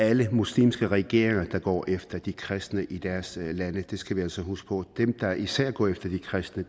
alle muslimske regeringer der går efter de kristne i deres lande det skal vi altså huske på dem der især går efter de kristne